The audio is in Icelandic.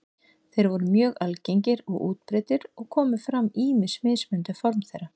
Þeir voru mjög algengir og útbreiddir og komu fram ýmis mismunandi form þeirra.